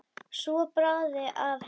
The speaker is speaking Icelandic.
Svo bráði af henni.